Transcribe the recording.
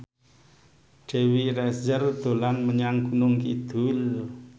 Dewi Rezer dolan menyang Gunung Kidul